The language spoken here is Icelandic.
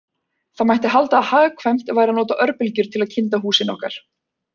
Því mætti halda að hagkvæmt væri að nota örbylgjur til að kynda húsin okkar.